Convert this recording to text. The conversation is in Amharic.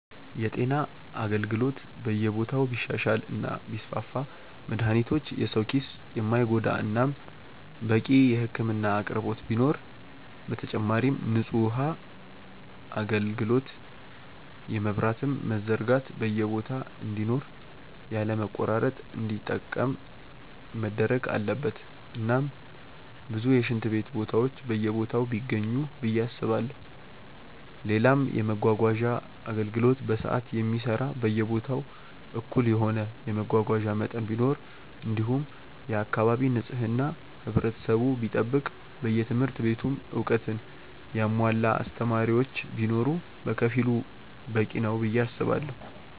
የጤና አገልግሎት በየቦታው ቢሻሻል እና ቢስፋፋ መድሃኒቶች የሰው ኪስ የማይጎዳ እናም በቂ የህክምና አቅርቦት ቢኖር፣ በተጨማሪም ንጹህ ውሃ አጋልግሎት የመብራትም መዘርጋት በየቦታ እንዲኖር ያለ መቆራረጥ እንዲጠቀም መደረግ አለበት እናም ብዙ የሽንት ቤት ቦታዎች በየቦታው ቢገኙ ብዬ አስባለው፣ ሌላም የመመጓጓዣ አገልግሎት በሰዓት የሚሰራ በየቦታው እኩል የሆነ የመጓጓዣ መጠን ቢኖር እንዲሁም የአካባቢ ንጽህና ህብረተሰቡ ቢጠብቅ በየትምህርት ቤቱም እውቀትን ያሙዋላ አስተማሪዎች ቢኖር በከፊሉ በቂ ነው ብዬ አስባለው።